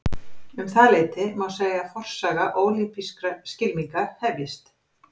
Um það leyti má segja að forsaga ólympískra skylminga hefjist.